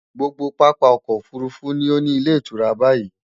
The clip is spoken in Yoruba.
Gbogbo pápá okò òfurufú ni ó ní ilétùura báyií.